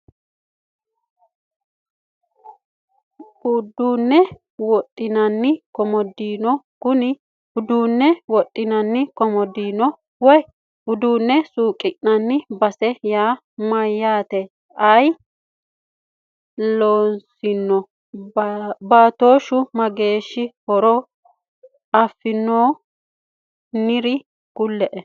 Uduune wodinani komodiino kuni uduune wodhinani komodiino woyi uduune suuqinani base yaa mayaate ayi loosano baatoshu mageeshaatiro afinohu nooro kuloe.